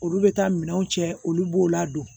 Olu bɛ taa minɛnw cɛ olu b'o ladon